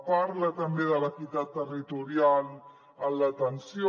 parla també de l’equitat territorial en l’atenció